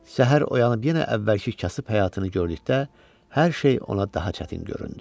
Səhər oyanıb yenə əvvəlki kasıb həyatını gördükdə, hər şey ona daha çətin göründü.